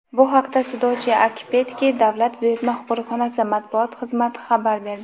Bu haqda "Sudoche-Akpetki" davlat buyurtma qo‘riqxonasi Matbuot xizmati xabar berdi.